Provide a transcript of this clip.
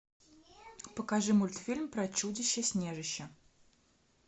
покажи мультфильм про чудище снежище